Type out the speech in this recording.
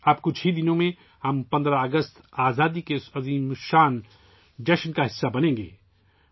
اب کچھ ہی دنوں میں ، ہم 15 اگست کو آزادی کے اس عظیم تہوار کا حصہ بنیں گے